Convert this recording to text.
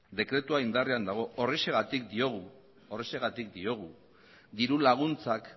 horrexegatik diogu dirulaguntzak